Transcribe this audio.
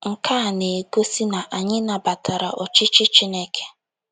Nke a na - egosi na anyị nabatara ọchịchị Chineke.